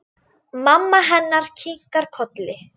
Mamma hennar kinkar kolli.